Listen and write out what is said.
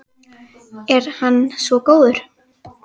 Er hann svo góður?